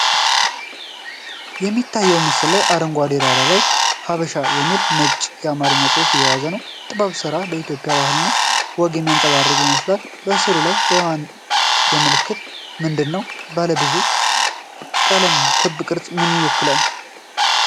የሚታየው ምስል በአረንጓዴ ዳራ ላይ “ሐበሻ” የሚል ነጭ የአማርኛ ጽሑፍ የያዘ ነው። የጥበብ ሥራ የኢትዮጵያን ባህልና ወግ የሚያንጸባርቅ ይመስላል። የሥዕሉ ዋና መልዕክት ምንድን ነው? ባለብዙ ቀለም ክብ ቅርጽ ምን ይወክላል?